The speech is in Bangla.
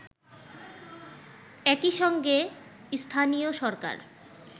একইসঙ্গে স্থানীয় সরকার